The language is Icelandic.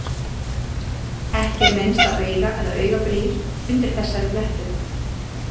Ekki er minnst á auga- eða augnabrýr undir þessari flettu.